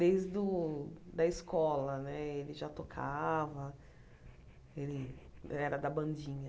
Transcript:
Desde o da escola né, ele já tocava, ele era da bandinha.